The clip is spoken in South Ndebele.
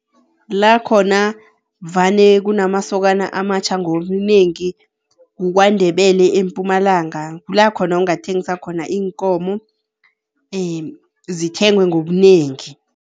Lakhona vane kunamasokana amatjha ngobunengi kuKwaNdebele eMpumalanga, kulakhona ungathengisa khona iinkomo, zithengwe ngobunengi.